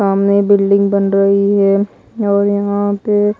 सामने बिल्डिंग बन रही है और यहां पे--